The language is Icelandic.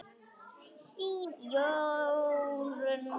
Þín, Jórunn María.